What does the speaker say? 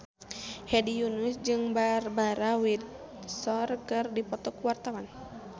Hedi Yunus jeung Barbara Windsor keur dipoto ku wartawan